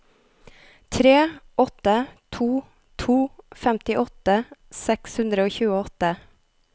tre åtte to to femtiåtte seks hundre og tjueåtte